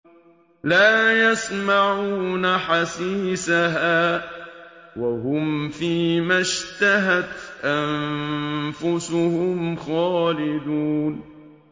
لَا يَسْمَعُونَ حَسِيسَهَا ۖ وَهُمْ فِي مَا اشْتَهَتْ أَنفُسُهُمْ خَالِدُونَ